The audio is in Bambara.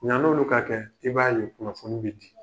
Yann'olu ka kɛ, i b'a ye kunnafoni bɛ di.